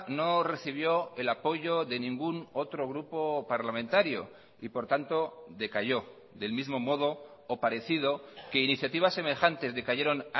no recibió el apoyo de ningún otro grupo parlamentario y por tanto decayó del mismo modo o parecido que iniciativas semejantes decayeron